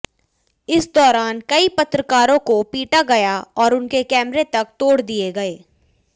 इस दौरान कई पत्रकारों को पीटा गया और उनके कैमरे तक तोड़ दिए गए